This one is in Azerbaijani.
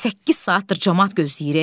Səkkiz saatdır camaat gözləyir e.